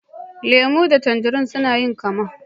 Lemu da tanzarine sun yi kamma.